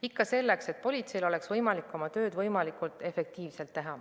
Ikka selleks, et politseil oleks võimalik oma tööd võimalikult efektiivselt teha.